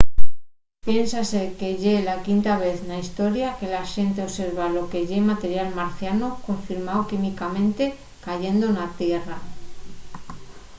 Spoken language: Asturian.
piénsase que ye la quinta vez na historia que la xente observa lo que ye material marciano confirmao químicamente cayendo na tierra